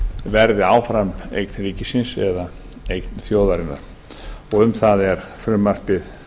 verði áfram eign ríkisins eða eign þjóðarinnar um það er frumvarpið